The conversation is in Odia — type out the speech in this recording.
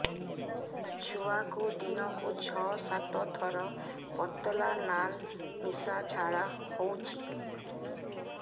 ଛୁଆକୁ ଦିନକୁ ଛଅ ସାତ ଥର ପତଳା ନାଳ ମିଶା ଝାଡ଼ା ହଉଚି